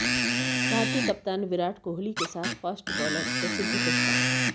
भारतीय कप्तान विराट कोहली के साथ फास्ट बॉलर प्रसिद्ध कृष्णा